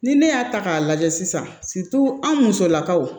Ni ne y'a ta k'a lajɛ sisan anw musolakaw